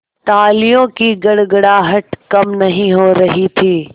तालियों की गड़गड़ाहट कम नहीं हो रही थी